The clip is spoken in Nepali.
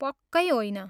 पक्कै होइन!